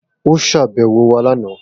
O ṣàbẹwò wa lana.